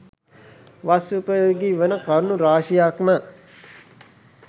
වස් උපයෝගී වන කරුණු රාශියක් ම